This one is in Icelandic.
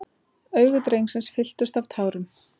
Augu drengsins fylltust af tárum.